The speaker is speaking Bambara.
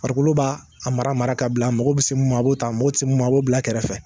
Farikolo b'a a mara mara ka bila a mɔgɔ be se mun ma a b'o ta a mago te se mun ma a b'o bila kɛrɛfɛ